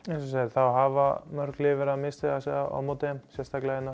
það hafa mörg lið verið að misstíga sig hérna á móti þeim sérstaklega á